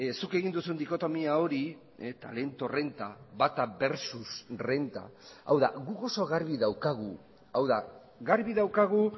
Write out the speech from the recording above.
zuk egin duzun dikotomia hori talento renta bata versus renta hau da guk oso garbi daukagu hau da garbi daukagu